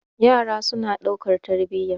yara suna daukar tarbiya